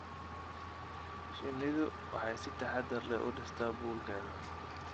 Shinnidu waxay si taxadar leh u dhistaa buulkeeda.